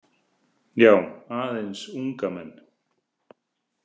Já, aðeins unga menn.